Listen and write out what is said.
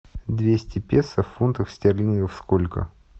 двести песо в фунтах стерлингов сколько